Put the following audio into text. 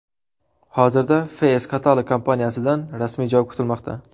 Hozirda Face Catalog kompaniyasidan rasmiy javob kutilmoqda.